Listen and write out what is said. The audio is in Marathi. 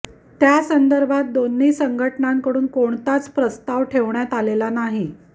त्या संदर्भात दोन्ही संघटनांकडून कोणताच प्रस्ताव ठेवण्यात आलेला नाही